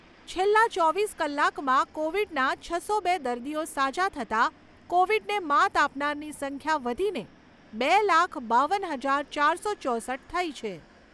છેલ્લા ચોવીસ કલાકમાં કોવિડના છસો બે દર્દીઓ સાજા થતાં, કોવિડને માત આપનારની સંખ્યા વધીને બે લાખ, બાવન હજાર ચારસો ચોસઠ થઈ છે.